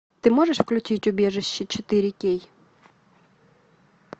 ты можешь включить убежище четыре кей